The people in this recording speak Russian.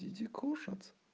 иди кушать